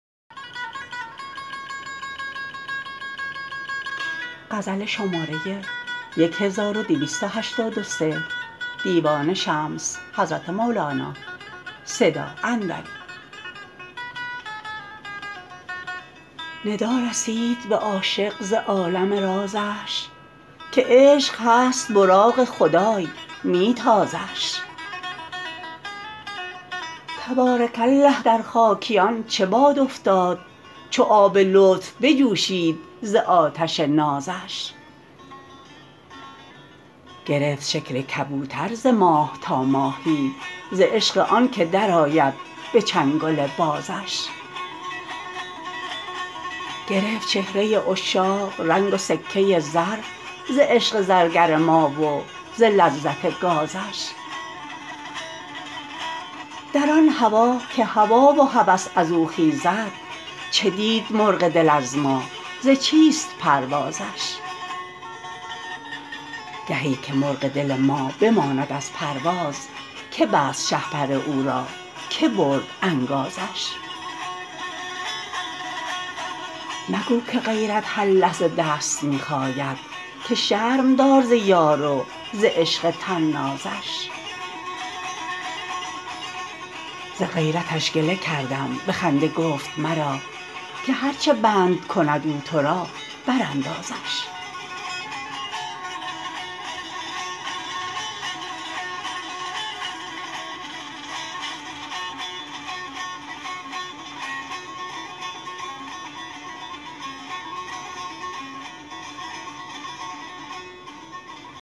ندا رسید به عاشق ز عالم رازش که عشق هست براق خدای می تازش تبارک الله در خاکیان چه باد افتاد چو آب لطف بجوشید ز آتش نازش گرفت شکل کبوتر ز ماه تا ماهی ز عشق آنک درآید به چنگل بازش گرفت چهره عشاق رنگ و سکه زر ز عشق زرگر ما و ز لذت گازش در آن هوا که هوا و هوس از او خیزد چه دید مرغ دل از ما ز چیست پروازش گهی که مرغ دل ما بماند از پرواز که بست شهپر او را کی برد انگازش مگو که غیرت هر لحظه دست می خاید که شرم دار ز یار و ز عشق طنازش ز غیرتش گله کردم به خنده گفت مرا که هر چه بند کند او تو را براندازش